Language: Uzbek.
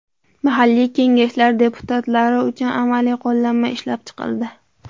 Mahalliy kengashlar deputatlari uchun amaliy qo‘llanma ishlab chiqildi.